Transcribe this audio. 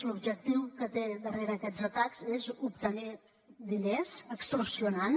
l’objectiu que tenen darrere aquests atacs és obtenir diners extorsionant